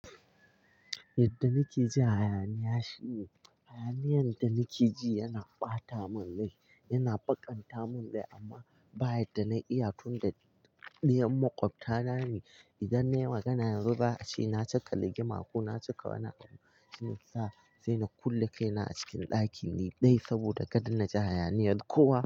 Yadda nake ji hayaniya shi ne hayaniyar da nake ji yana ɓata mun rai, yana baƙanta mun rai amma bayan da na yi iya tun da ɗiyan maƙwabta na ne idan nayi magana yanzu ba a ce na caka rigima ko na cika wani abu shiyasa na kulle kaina a cikin ɗaki ni ɗai saboda kada na ji hayaniyar kowa.